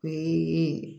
Ee